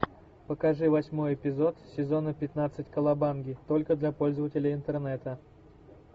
покажи восьмой эпизод сезона пятнадцать кавабанги только для пользователей интернета